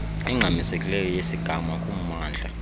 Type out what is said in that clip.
engxamisekileyo yesigama kumamndla